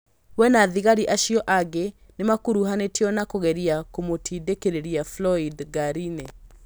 We na thigari acio angĩ nĩmakuruhanĩtio na kũgeria kũmũtindĩkĩrĩria Floyd ngari-inĩ